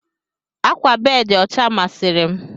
Ákwà bedi ọcha masịri m.